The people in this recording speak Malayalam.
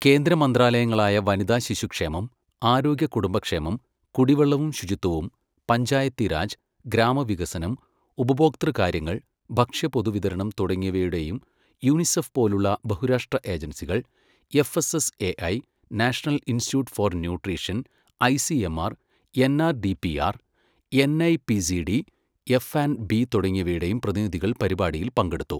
കേന്ദ്ര മന്ത്രാലയങ്ങളായ വനിതാ ശിശു ക്ഷേമം, ആരോഗ്യ കുടുംബ ക്ഷേമം, കുടിവെള്ളവും ശുചിത്വവും, പഞ്ചായത്തിരാജ്, ഗ്രാമവികസനം, ഉപഭോക്തൃ കാര്യങ്ങൾ, ഭക്ഷ്യ പൊതുവിതരണം തുടങ്ങിയവയുടെയും യുണിസെഫ് പോലുള്ള ബഹുരാഷ്ട്ര ഏജൻസികൾ, FSSAI, national institute for nutrition, ICMR, NRDPR, NIPCD, F and B തുടങ്ങിയവയുടെയും പ്രതിനിധികൾ പരിപാടിയിൽ പങ്കെടുത്തു.